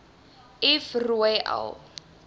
f rooi l